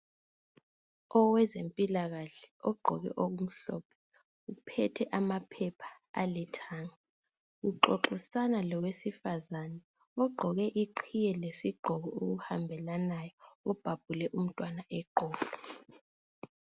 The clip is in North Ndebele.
Owezempilakahle ugqoke okumhlophe, uphethe amaphepha alithanga. Uxoxisana lowesifazane ogqoke iqhiye lesigqoko okuhambelanayo. Ubhabhule umntwana eqolo.